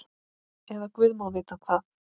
Eða guð má vita hvað.